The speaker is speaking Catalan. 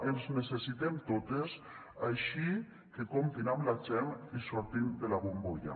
ens necessitem totes així que comptin amb la gent i surtin de la bombolla